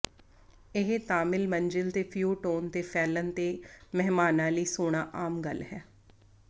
ਇਹ ਤਾਮਿਲ ਮੰਜ਼ਿਲ ਤੇ ਫਿਊਟੋਨ ਤੇ ਫੈਲਣ ਤੇ ਮਹਿਮਾਨਾਂ ਲਈ ਸੌਣਾ ਆਮ ਗੱਲ ਹੈ